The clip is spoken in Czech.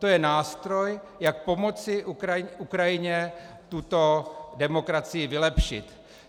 To je nástroj, jak pomoci Ukrajině tuto demokracii vylepšit.